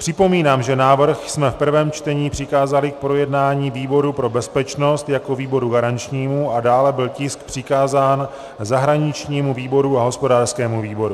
Připomínám, že návrh jsme v prvém čtení přikázali k projednání výboru pro bezpečnost jako výboru garančnímu a dále byl tisk přikázán zahraničnímu výboru a hospodářskému výboru.